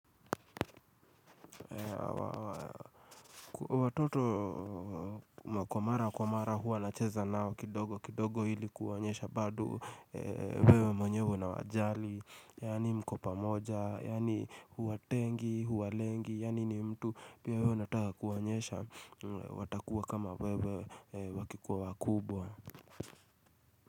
Watoto kwa mara kwa mara huwa nacheza nao kidogo kidogo ili kuwaonyesha bado wewe mwenyewe na unawajali yaani mko pamoja, yani huwatengi, huwalengi, yaani ni mtu pia wewe unataka kuwaonyesha watakuwa kama wewe wakikuwa wakubwa.